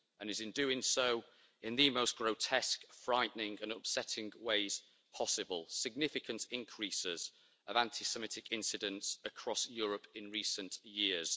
It is doing so in the most grotesque, frightening and upsetting ways possible significant increases in anti Semitic incidents across Europe in recent years.